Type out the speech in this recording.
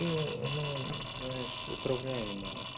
ну знаешь управляемые